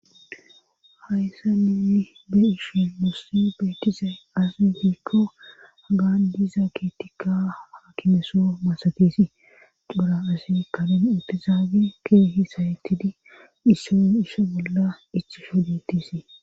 hayssa ninni be ishe mussi beetizay asi hiikko agan diiza kitikka haakimeso masatesi xura asi kalun intizaage keehi sayetidi dhisson ishe bolla ichi shoditisii